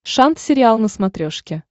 шант сериал на смотрешке